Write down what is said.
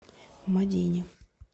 мадине